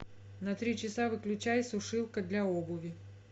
на три часа выключай сушилка для обуви